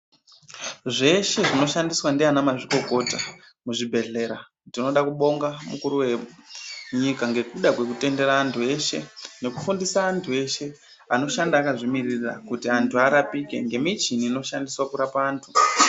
Zveshe zvinoshandiswa ndiana mazvikokota muzvibhedhlera. Tinoda kubonga mukuru venyika ngekuda kwekutendera antu eshe ngokufundisa antu eshe anoshanda akazvimiririra. Kuti antu arapike ngemishini inoshandiswa kurapa antu.